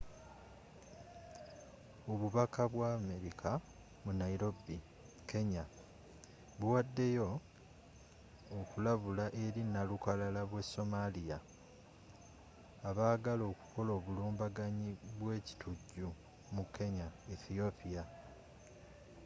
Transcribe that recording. obubaka bwa amerika mu nairobi kenya buwaddeyo okulabula eri nnalukalala b'e somalia” abaagala okukola obulumbaganyi bwe ekitujju mu kenya ne ethiopia